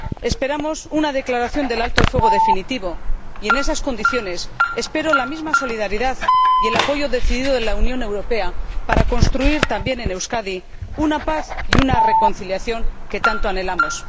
Esperamos una declaración del alto el fuego definitivo y, en esas condiciones, espero la misma solidaridad y el apoyo decidido de la Unión Europea para construir, también en Euskadi, una paz y una reconciliación que tanto anhelamos.